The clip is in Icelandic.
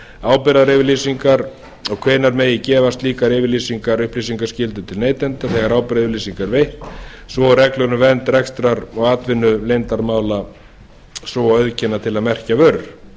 ábyrgðaryfirlýsingar og hvenær megi gefa slíkar yfirlýsingar upplýsingaskyldu til neytenda þegar ábyrgðaryfirlýsing er veitt svo og reglur um vernd rekstrar og atvinnuleyndarmála svo og auðkenni til að merkja vörur